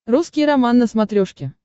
русский роман на смотрешке